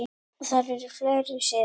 Þær urðu fleiri síðar.